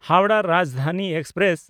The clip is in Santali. ᱦᱟᱣᱲᱟᱦ ᱨᱟᱡᱽᱫᱷᱟᱱᱤ ᱮᱠᱥᱯᱨᱮᱥ